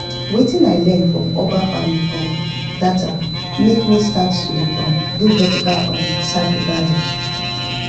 wetin i learn from urban farming um data make me start to dey um do vertical um sack garden